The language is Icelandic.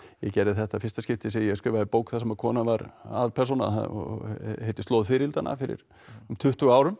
ég gerði þetta í fyrsta skipti sem ég skrifaði bók þar sem kona var aðalpersóna og heitir slóð fiðrildanna fyrir um tuttugu árum